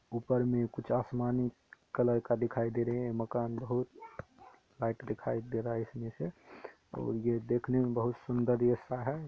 ऊपर में कुछ आसमानी कलर का दिखाई दे रहे हैं। मकान बहुत व्हाइट दिखाई दे रहा है इसमे से । और ये देखने मे बहुत सुंदर ऐसा है।